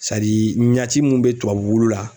Sadii ɲaci mun be tubabu wulu la